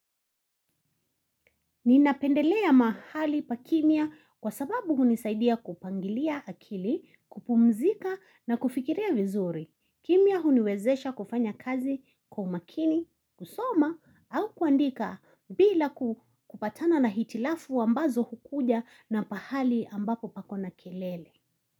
Ninapendelea mahali pa kimya kwa sababu hunisaidia kupangilia akili, kupumzika na kufikiria vizuri. Kimya huniwezesha kufanya kazi kwa umakini, kusoma au kuandika bila kupatana na hitilafu ambazo hukuja na pahali ambapo pako na kelele.